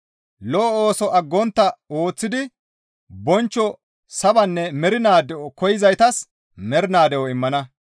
Lo7o ooso aggontta ooththidi bonchcho sabanne mernaa de7o koyzaytas mernaa de7o immana.